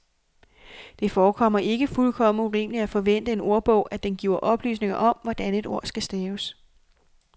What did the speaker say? Det forekommer ikke fuldkommen urimeligt at forvente af en ordbog, at den giver oplysning om, hvordan et ord skal staves.